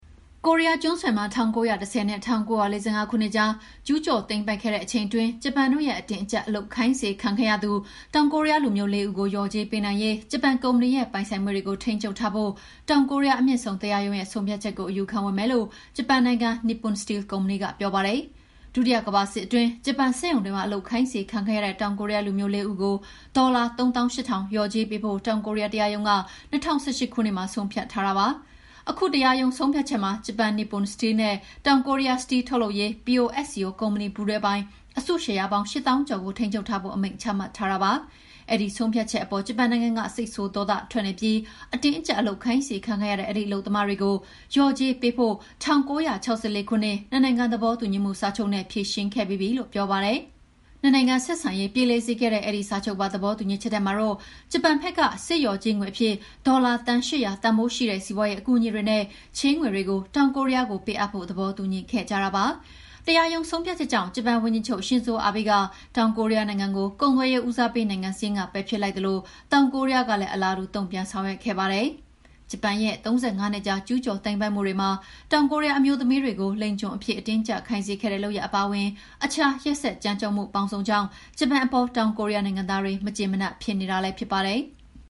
ကိုးရီးယားကျွန်းဆွယ်မှာ ၁၉၁၀ နဲ့ ၁၉၄၅ ခုနှစ်ကြား ကျူးကျော်သိမ်းပိုက်ခဲ့တဲ့ ဂျပန်တို့ရဲ့ အတင်းအကြပ် လုပ်အားခိုင်းစေခံခဲ့ရသူ တောင်ကိုရီးယားလူမျိုး လေး ဦးကို လျော်ကြေးပေးနိုင်ရေး ဂျပန်ကုမ္ပဏီရဲ့ပိုင်ဆိုင်မှုတွေကို ထိန်းချုပ်ထားဖို့ တောင်ကိုရီးယားအမြင့်ဆုံးတရားရုံးရဲ့ဆုံးဖြတ်ချက်ကို အယူခံဝင်မယ်လို့ ဂျပန်နိုင်ငံ Nippon Steel ကုမ္ပဏီကပြောပါတယ်။ ဒုတိယကမ္ဘာစစ်အတွင်း ဂျပန်စက်ရုံတွေမှာ အလုပ်ခိုင်းခံခဲ့ရတဲ့ တောင်ကိုရီးယားလူမျိုး လေးဦးကို ဒေါ်လာ ၃၈,၀၀၀ လျော်ကြေးပေးဖို့ တောင်ကိုရီးယားတရားရုံးက ၂၀၁၈ ခုနှစ်မှာ ဆုံးဖြတ်ထားတာဖြစ်ပါတယ်။ ခုတရားရုံးဆုံးဖြတ်ချက်မှာ ဂျပန် Nippon Steel & Sumitomo Metal နဲ့ တောင်ကိုရီးယား စတီးထုတ်လုပ်ရေး POSCO ကုမ္ပဏီပူးတွဲပိုင် အစုရှယ်ယာပေါင်း ၈၀,၀၀၀ ကျော်ကို ထိန်းချုပ်ထားဖို့ အမိန့်ချမှတ်ထားတာဖြစ်ပါတယ်။ အဲဒီဆုံးဖြတ်ချက်အပေါ် ဂျပန်နိုင်ငံက စိတ်ဆိုးဒေါသထွက်နေပြီး အတင်းအကြပ်အလုပ်ခိုင်းစေခံခဲ့ရတဲ့ အဲဒီအလုပ်သမားတွေကို လျော်ကြေးပေးဖို့ ၁၉၆၄ ခုနှစ် နှစ်နိုင်ငံ သဘောတူညီမှုစာချုပ်နဲ့ ဖြေရှင်းခဲ့ပြီးပြီလို့ ပြောပါတယ်။ နှစ်နိုင်ငံဆက်ဆံရေးပြေလည်စေခဲ့တဲ့ အဲဒီစာချုပ်ပါသဘောတူညီချက်ထဲမှာတော့ ဂျပန်ဘက်က စစ်လျော်ကြေးငွေအဖြစ် ဒေါ်လာ သန်း ၈၀၀ တန်ဖိုးရှိတဲ့ စီးပွါးရေးအကူအညီတွေနဲ့ ချေးငွေတွေကို တောင်ကိုရီးယားကို ပေးအပ်ဖို့ သဘောတူညီခဲ့ကြတာပါ။ တရားရုံးဆုံးဖြတ်ချက်ကြောင့် ဂျပန်ဝန်ကြီးချုပ်ရှင်ဇိုအာဘေးက တောင်ကိုရီးယားနိုင်ငံကို ကုန်သွယ်ရေးဦးစားပေးနိုင်ငံစာရင်းက ပယ်ဖျက်လိုက်သလို တောင်ကိုရီးယားကလည်း အလားတူ တုံ့ပြန်ဆောင်ရွက်ခဲ့ပါတယ်။ ဂျပန်ရဲ့ ၃၅ နှစ်ကြာ ကျူးကျော်သိမ်းပိုက်မှုတွေမှာ တောင်ကိုရီးယားအမျိုးသမီးတွေကို လိင်ကျွန်အဖြစ် အတင်းအကြပ်ခိုင်းစေခဲ့တဲ့ လုပ်ရပ် အပါအဝင် အခြားရက်စက်ကြမ်းကြုတ်မှု ပေါင်းစုံကြောင့် ဂျပန်အပေါ် တောင်ကိုရီးယားနိုင်သားတွေ မကျေမနပ်ဖြစ်နေတာလည်း ဖြစ်ပါတယ်။